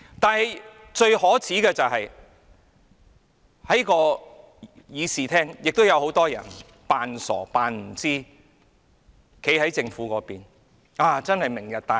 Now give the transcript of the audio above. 不過，最可耻的是，在這個議事廳內亦有很多人裝傻、裝作不知道，站在政府那邊，稱讚"明日大嶼"。